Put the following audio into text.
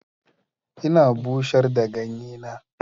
Ina bushar da ganye na.